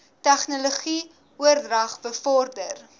tegnologie oordrag bevorder